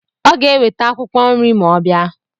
Ọ ga-eweta akwụkwọ nri ma ọ bịa.